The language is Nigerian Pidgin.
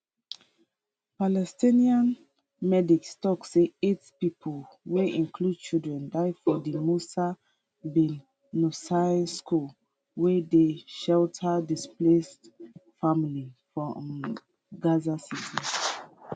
palestinian medics tok say eight pipo wey include children die for di musa bin nusayr school wey dey shelter displaced families for um gaza city